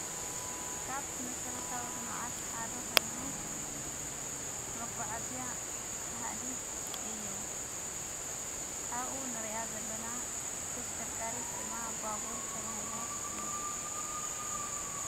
ካብ መሠረቶዊ ልመዓት ሓደ ኾይኑ መጐዓእዝያ ሃዲድ እዩ ኣኡ ንርኣ ዘለና ተሽከርካሪ ህቲማዓ ባቦር ተብሂላ ትፍለድ።